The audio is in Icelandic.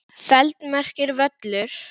feld merkir völlur.